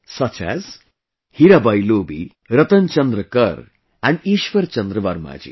Such as...Hirabai Lobi, Ratan Chandra Kar and Ishwar Chandra Verma Ji